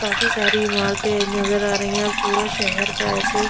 काफी सारी इमारते नज़र आ रही है पूरा शहर का एसे--